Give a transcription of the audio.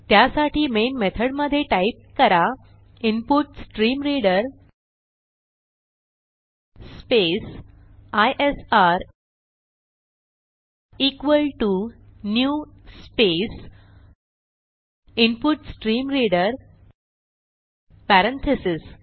त्यासाठी मेन मेथडमधे टाईप करा input stream reader space ISR equal to new space input stream reader parentheses